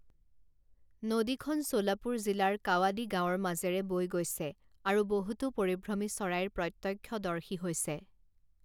নদীখন চোলাপুৰ জিলাৰ কাৱাদি গাঁৱৰ মাজেৰে বৈ গৈছে, আৰু বহুতো পৰিভ্ৰমী চৰাইৰ প্ৰত্যক্ষদৰ্শী হৈছে।